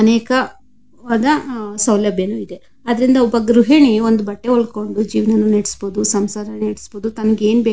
ಅನೇಕವಾದ ಸೌಲಭ್ಗಳು ಇವೆ. ಆದುದರಿಂದ ಒಂದು ಗೃಹಣಿ ಬಟ್ಟೆ ಒಳ್ಕೊಂಡು ಜೀವನನ ನಡಿಸಬಹುದು ಸಂಸಾರ ನಡಿಸಬಹುದು. ತನಗೆ ಏನ್ ಬೇಕೋ --